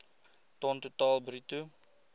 ton totaal bruto